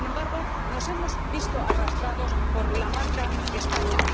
Sin embargo, nos hemos visto arrastrados por la marca España.